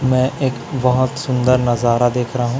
मैं एक बहोत सुंदर नजारा देख रहा हूं--